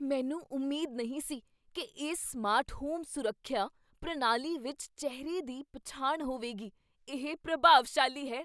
ਮੈਨੂੰ ਉਮੀਦ ਨਹੀਂ ਸੀ ਕੀ ਇਸ ਸਮਾਰਟ ਹੋਮ ਸੁਰੱਖਿਆ ਪ੍ਰਣਾਲੀ ਵਿੱਚ ਚਿਹਰੇ ਦੀ ਪਛਾਣ ਹੋਵੇਗੀ। ਇਹ ਪ੍ਰਭਾਵਸ਼ਾਲੀ ਹੈ!